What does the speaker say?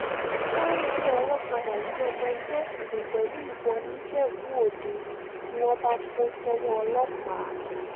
sunday olókàdá gbé ọmọ ẹgbẹ́ òkùnkùn pẹ̀lú ìbọn nìjẹ́bú-òde ni wọ́n bá kó sọ́wọ́ ọlọ́pàá